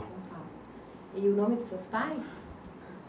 E o nome dos seus pais?